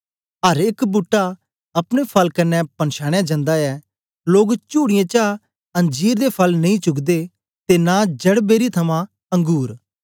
अर एक बूट्टा अपने फल कन्ने पंछानया जन्दा ऐ लोग चुड़ीयें चा अंजीर दे फल नेई चुगदे ते नां झड़बेरी थमां अंगुर